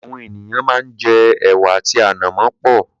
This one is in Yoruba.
Àwọn ènìyàn máa ń jẹ ẹ̀wà àti ànàmọ́ pẹ̀.